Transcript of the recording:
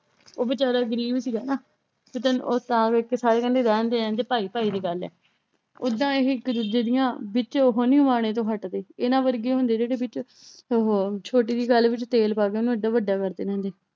ਉਹ ਬੇਚਾਰਾ ਗ਼ਰੀਬ ਸੀਗਾ ਨਾ ਉਹ ਤਾਂ ਵੇਖ ਕੇ ਸਾਰੇ ਕਹਿੰਦੇ ਰਹਿਣਦੇ ਰਹਿਣਦੇ ਭਾਈ ਭਾਈ ਦੀ ਗੱਲ ਏ ਓਦਾਂ ਇਹ ਇੱਕ ਦੂਜੇ ਦੀਆਂ ਵਿੱਚ ਤੋਂ ਹੱਟਦੇ ਇਹਨਾਂ ਵਰਗੇ ਹੁੰਦੇ ਜਿਹੜੇ ਵਿੱਚ ਉਹ ਛੋਟੀ ਜਿਹੀ ਗੱਲ ਵਿੱਚ ਤੇਲ ਪਾ ਕੇ ਉਹਨੂੰ ਏਡਾ ਵੱਡਾ ਕਰਦੇ ਰਹਿੰਦੇ